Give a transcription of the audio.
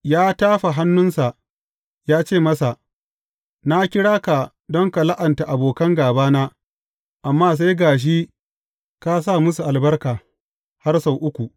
Ya tafa hannunsa, ya ce masa, Na kira ka don ka la’anta abokan gābana, amma sai ga shi ka sa musu albarka har sau uku.